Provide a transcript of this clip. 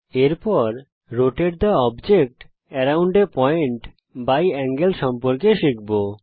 এর পরে rotate the object around a point by angle সম্পর্কে শিখব